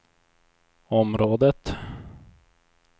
området